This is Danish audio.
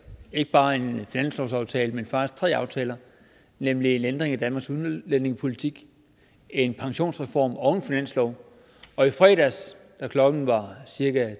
ikke bare en finanslovsaftale men faktisk tre aftaler nemlig en ændring af danmarks udlændingepolitik en pensionsreform og en finanslov og i fredags da klokken var cirka